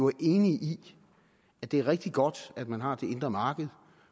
er enige i at det er rigtig godt at man har det indre marked